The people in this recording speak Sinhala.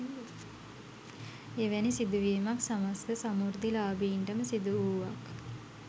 එවැනි සිදු වීමක් සමස්ත සමෘද්ධිලාභීන්ටම සිදු වූවක්